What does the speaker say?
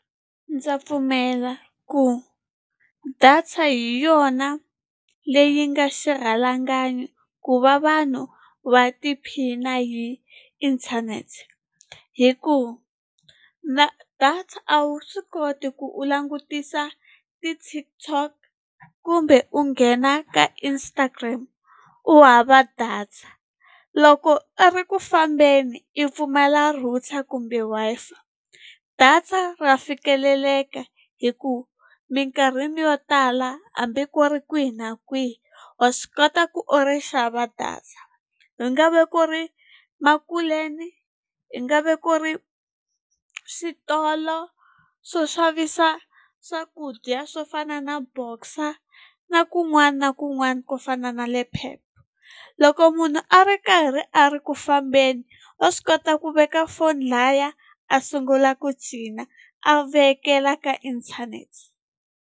Ndza pfumela ku data hi yona leyi nga xirhalanganyi ku va vanhu va tiphina hi inthanete hi ku data a wu swi koti ku u langutisa ti-TikTok kumbe u nghena ka Instagram u hava data loko a ri ku fambeni i pfumala router kumbe Wi-Fi data ra fikeleleka hi ku minkarhini yo tala hambi ku ri kwihi na kwihi wa swi kota ku u ri xava data i nga ve ku ri makuleni i nga ve ku ri switolo swo xavisa swakudya swo fana na Boxer na kun'wana na kun'wana ko fana na le Pep loko munhu a ri karhi a ri ku fambeni wa swi kota ku veka foni laya a sungula ku cina a vekela ka inthanete.